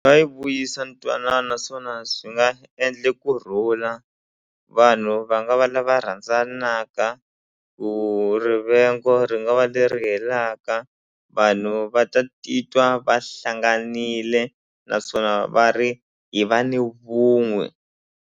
Nga yi vuyisa ntwanano naswona swi nga endle kurhula vanhu va nga va lava rhandzanaka ku rivengo ri nga va leri helaka vanhu va ta titwa va hlanganile naswona va ri hi va ni vun'we.